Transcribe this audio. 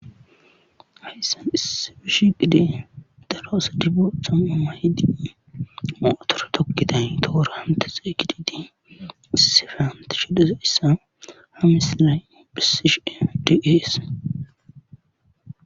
Hayssan issi bish gide daroosa dibosama ima hiddini mootora tokkitay toora hante xeeygididi issife hante shidesa issa ha misilay bhisishe deggeese.